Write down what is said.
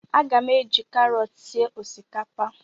A ga m eji karọt sie osikapa